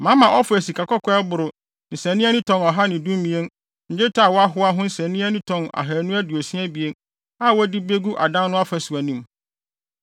Mama Ofir sikakɔkɔɔ a ɛboro nsania ani tɔn ɔha ne dumien ne dwetɛ a wɔahoa ho nsania ani tɔn ahannu aduosia abien a wɔde begu adan no afasu anim,